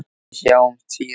Við sjáumst síðar.